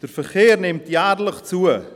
Der Verkehr nimmt jährlich zu.